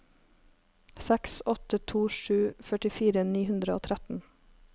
seks åtte to sju førtifire ni hundre og tretten